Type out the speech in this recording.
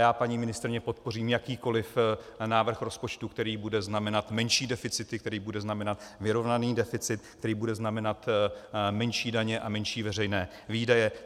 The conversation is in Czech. Já paní ministryni podpořím jakýkoli návrh rozpočtu, který bude znamenat menší deficity, který bude znamenat vyrovnaný deficit, který bude znamenat menší daně a menší veřejné výdaje.